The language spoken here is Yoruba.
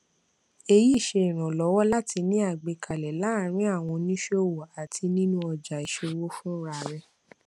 èyí ṣe ìrànlọwọ láti ní àgbékalẹ láàrin àwọn oníṣòwò àti nínú ọjà ìṣòwò fúnra rẹ